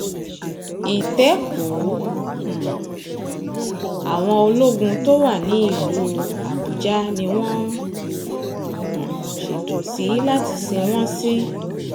ìtẹ́kùu um àwọn ológun tó wà nílùú àbújá ni wọ́n ń um ṣètò sí láti sìn wọ́n sí